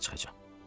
Çağacan.